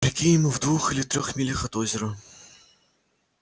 прикинь мы в двух или трёх милях от озера